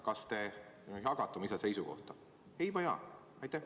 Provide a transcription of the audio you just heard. Kas te jagate seda seisukohta, ei või jaa?